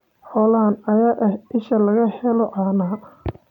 Xoolahan ayaa ah isha laga helo caanaha.